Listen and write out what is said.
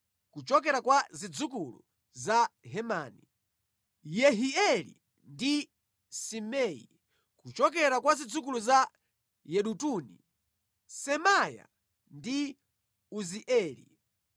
kuchokera kwa zidzukulu za Hemani, Yehieli ndi Simei; kuchokera kwa zidzukulu za Yedutuni, Semaya ndi Uzieli.